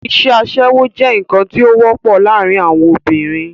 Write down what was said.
isẹ́ asẹ́wó jẹ́ ǹkan tí ó wọ́pọ̀ láàrin àwon obìnrin